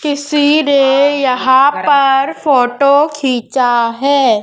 किसी ने यहां पर फोटो खिंचा है।